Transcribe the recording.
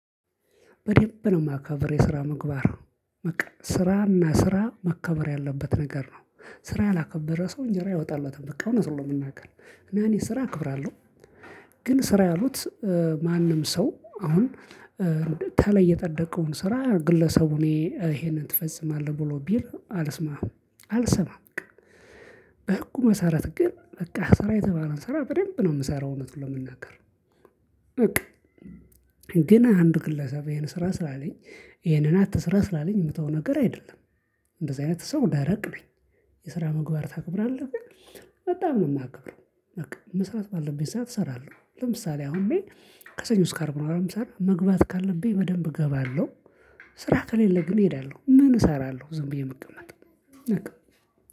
በደንብ ነው የማከብር የስራ ምግባር። በቃ ስራና ስራ መከበር ያለበት ነገር ነው ስራ ያላከበረ ሰው እንጀራ አይወጣለትም በቃ እውነቱን ነው የምናገረው። ለእኔ ስራ ክብር አለሁ። ግን ስራ ያሉት ማንም ሰው አሁን። ተላይ የጠደከውን ስራ ግለሰቡ እኔ ይሄን ትፈጽማለህ ብሎ ቢል አልስማም አልሰማም። በህጉ መሰረት ግን በቃ ስራ የተባለውን ስራ በደንብ ነው የምሰራው እውነቱን ለመናገር። በቃ። ግን አንድ ግለሰብ ይሄን ስራ ስራ አለኝ ይሄንን አትስራ ስላለኝ ምተወው ነገር አይደለም። እንደዚህ አይነት ሰው ደረቅ ነኝ። የስራ ምግባር ታከብራለህ? በጣም ነው ማከብረው። በቃ መስራት ባለብኝ ሰዓት እሰራለሁ ለምሳሌ አሁን እኔ ከሰኞ ስካርብ ነው የምሰራው መግባት ካለብኝ በደንብ እገባለሁ። ስራ ከሌለ ግን እሄዳለሁ ምን እሰራለሁ ዝም ብዬ የምቀመጠው። በቃ